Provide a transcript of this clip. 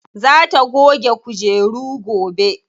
Za ta goge kujeru gobe.